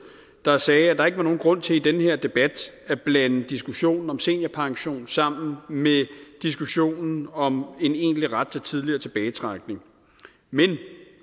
der sagde at der ikke var nogen grund til i den her debat at blande diskussionen om seniorpension sammen med diskussionen om en egentlig ret til tidligere tilbagetrækning men